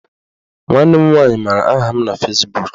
Nwanne m nwaanyị maara aha m na Fezbuk